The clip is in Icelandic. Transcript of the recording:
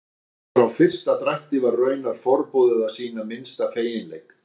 Allt frá fyrsta drætti var raunar forboðið að sýna minnsta feginleik.